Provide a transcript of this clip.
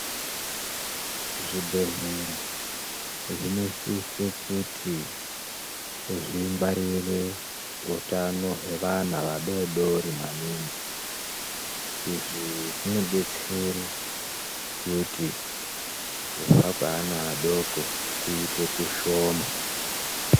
Zvibhedhlera zvinosise kuti zvingwarire utano hwevana vadodori maningi. Izvi zvinodetsere kuti kufa kweana adoko kuite kushoma.